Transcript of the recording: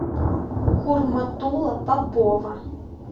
хурматула попова